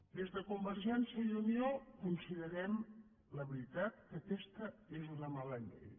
des de convergència i unió considerem la veritat que aquesta és una mala llei